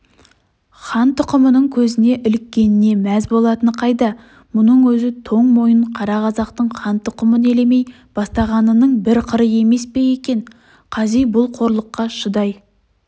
хан тұқымының көзіне іліккеніне мәз болатыны қайда мұның өзі тоң мойын қара қазақтың хан тұқымын елемей бастағанының бір қыры емес пе екен қази бұл қорлыққа шыдай